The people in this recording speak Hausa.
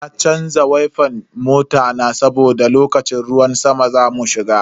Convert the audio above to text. Sai na canza wifan mota na saboda lokacin ruwan sama zamu shiga.